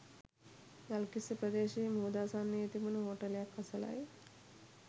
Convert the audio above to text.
ගල්කිස්ස ප්‍රදේශයේ මුහුදාසන්නයේ තිබුණ හෝටලයක් අසලයි.